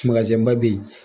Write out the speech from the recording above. ba bɛ yen